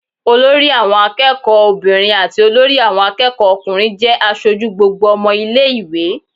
Olori àwọn akẹ́kọ̀ọ́ obìnrin àti olórí àwọn akẹ́kọ̀ọ́ ọkùnrin jẹ́ aṣojú gbogbo ọmọ ilé ìwé.